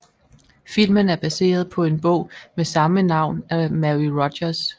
Filmen er baseret på en bog med samme navn af Mary Rodgers